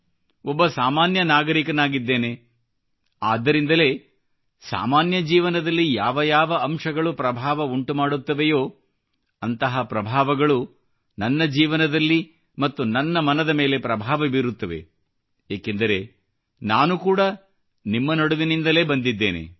ಒಬ್ಬ ಸಾಮಾನ್ಯ ನಾಗರಿಕನಾಗಿದ್ದೇನೆ ಆದ್ದರಿಂದಲೇ ಸಾಮಾನ್ಯ ಜೀವನದಲ್ಲಿ ಯಾವ ಯಾವ ಅಂಶಗಳು ಪ್ರಭಾವ ಉಂಟುಮಾಡುತ್ತವೆಯೇ ಅಂತಹ ಪ್ರಭಾವಗಳು ನನ್ನ ಜೀವನದಲ್ಲಿ ಮತ್ತು ನನ್ನ ಮನದ ಮೇಲೆ ಪ್ರಭಾವ ಬೀರುತ್ತವೆ ಏಕೆಂದರೆ ನಾನು ಕೂಡಾ ನಿಮ್ಮ ನಡುವಿನಿಂದಲೇ ಬಂದಿದ್ದೇನೆ